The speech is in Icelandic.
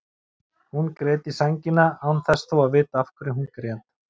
Hún grét í sængina án þess þó að vita af hverju hún grét.